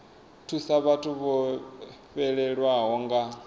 thusa vhathu vho fhelelwaho nga